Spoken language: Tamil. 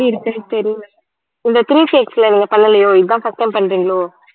எப்படி இருக்குன்னு தெரியல இந்த three நீங்க பண்ணலையோ இதான் first time பண்றீங்களோ